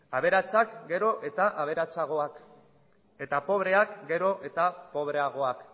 aberatsak gero eta aberatsagoak eta pobreak gero eta pobreagoak